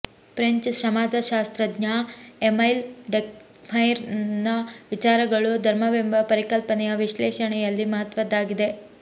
French ಸಮಾಜಶಾಸ್ತ್ರಜ್ಞ Emile ಡರ್ಕ್ಹೈಮ್ನ ವಿಚಾರಗಳು ಧರ್ಮವೆಂಬ ಪರಿಕಲ್ಪನೆಯ ವಿಶ್ಲೇಷಣೆಯಲ್ಲಿ ಮಹತ್ವದ್ದಾಗಿದೆ